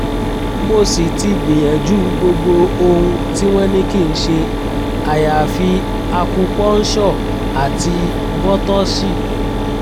mo sì ti gbìyànjú gbogbo ohun tí wọ́n ní kí n ṣe àyàfi akupọ́ńṣọ̀ àti bọ́tọ́sì